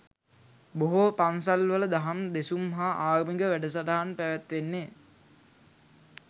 බොහෝ පන්සල්වල දහම් දෙසුම් හා ආගමික වැඩසටහන් පැවැත්වෙන්නේ